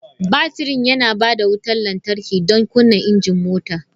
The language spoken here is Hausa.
Batirin yana ba da wutar lantarki don kunna injin mota.